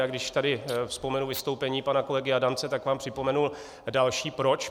A když tady vzpomenu vystoupení pana kolegy Adamce, tak vám připomenul další proč.